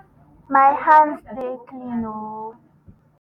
my hands dey clean oooooooooooo (akam di ocha).